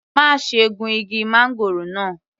Má ṣe gun igi máńgòrò náà.